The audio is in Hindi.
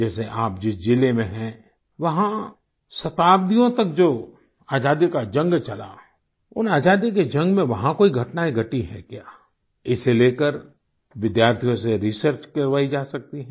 जैसे आप जिस जिले में हैं वहाँ शताब्दियों तक जो आजादी का जंग चला उन आजादियों के जंग में वहाँ कोई घटनाएं घटी हैं क्या इसे लेकर विद्यार्थियों से रिसर्च करवाई जा सकती है